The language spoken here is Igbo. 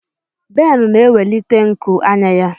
Ben na-ewelite nku anya ya.